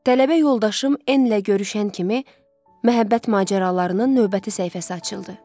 Tələbə yoldaşım enlə görüşən kimi məhəbbət macəralarının növbəti səhifəsi açıldı.